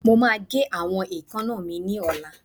Mo máa gé àwọn èékánná mi ní ọ̀la